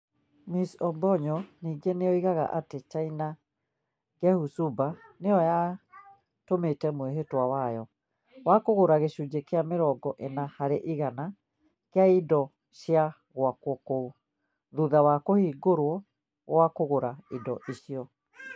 Ms Obonyo ningĩ nĩ oigaga atĩ China Gezhouba nĩ yatũmĩte mwĩhĩtwa wayo. Wa kũgũra gĩcunjĩ kĩa mĩrongo ĩna harĩ igana kĩa indo cia gwakwo kũu. thutha wa kũhingũrwo gwa kũgũra indo icio.